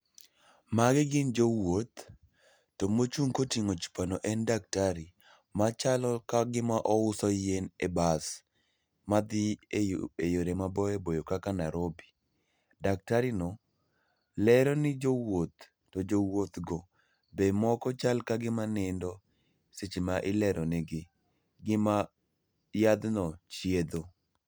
Magi gin jowuoth, to mochung' koting'o chupa no en daktari machalo ka gima ouso yien e bas madhi e yore maboyo boyo kaka Narobi. Daktarino lero ne jowuoth to jowuothgo be moko chal ka gima nindo seche ma ileronegi gima yadhno chiedho.